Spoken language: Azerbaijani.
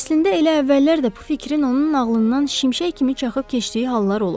Əslində elə əvvəllər də bu fikrin onun ağlından şimşək kimi çaxıb keçdiyi hallar olub.